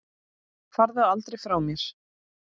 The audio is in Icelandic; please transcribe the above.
Farðu aldrei frá mér.